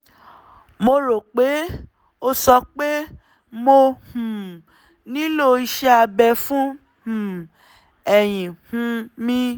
mo rò pé ó sọ pé mo um nílò iṣẹ́ abẹ fún um ẹ̀yìn um mi